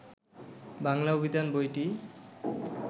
বাংলা অভিধান বইটি